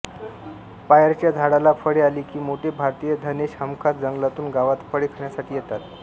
पायरच्या झाडाला फळे आली की मोठे भारतीय धनेश हमखास जंगलातून गावात फळे खाण्यासाठी येतात